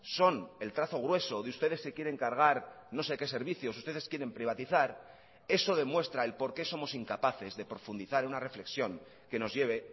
son el trazo grueso de ustedes se quieren cargar no sé qué servicios ustedes quieren privatizar eso demuestra el por qué somos incapaces de profundizar una reflexión que nos lleve